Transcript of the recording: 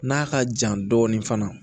N'a ka jan dɔɔni fana